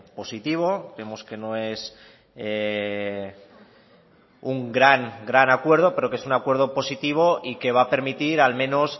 positivo vemos que no es un gran gran acuerdo pero que es un acuerdo positivo y que va a permitir al menos